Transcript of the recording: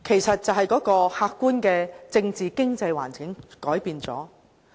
因為客觀政治、經濟環境有變。